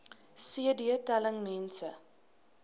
cd telling mense